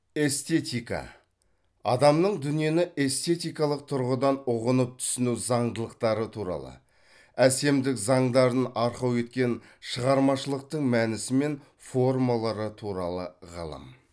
эстетика адамның дүниені эстетикалық тұрғыдан ұғынып түсіну заңдылықтары туралы әсемдік заңдарын арқау еткен шығармашылықтың мәнісі мен формалары туралы ғылым